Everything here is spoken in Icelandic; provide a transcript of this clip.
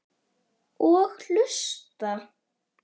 Og hlusta.